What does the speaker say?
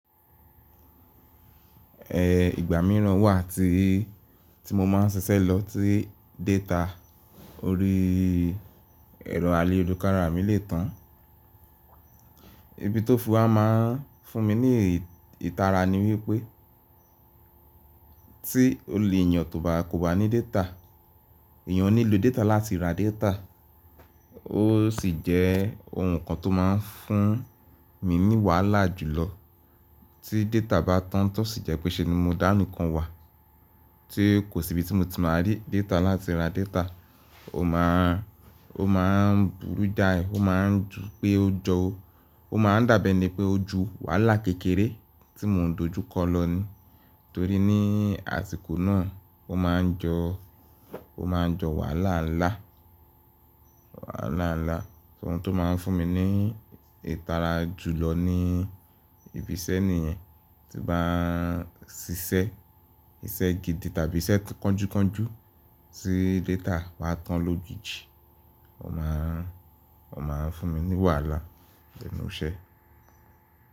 Ehh, ìgbà mìíràn wà tí, tí mo máa ń ṣiṣẹ́ lọ tí data orí ẹ̀rọ àlé olùkárà mí lè tán. Ibi tó fún a máa fún mi ní ìtara ni wípé tí olè ènìyàn tó bá kò bá ní data, èèyàn ò ní lo data láti ra data. Ó sì jẹ́ ohun kan tó máa ń fún mi ní wàhálà jùlọ tí data bá tán tí ó sì jẹ́ pé ṣe ni mo dá nìkan wà. Tí kò sí ibi tí mo ti máa rí data láti ra data, ó máa, ó máa burú jáì, ó máa ń ju pé ó jọ ó, ó máa ń dàbi eni pé ó ju wàhálà kékeré tí mo ń dojú kọ lọ ní. Torí ní àsìkò náà ó máa ń jọ, ó máa ń jọ wàhálà ńlá, wàhálà ńlá. Ohun tó máa ń fún mi ní ìtara jùlọ ni ìbísẹ́ nìyen tí bá ń ṣiṣẹ́, iṣẹ́ gidi tàbí iṣẹ́ kọ́ńjúkọ́ńjú tí data bá tán lójijì, ó máa ń, ó máa ń fún mi ní wàhálà nínú iṣẹ́.